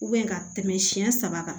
ka tɛmɛ siɲɛ saba kan